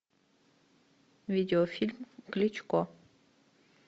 видеофильм кличко